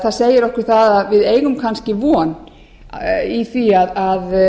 það segir okkur það að við eigum kannski von í því að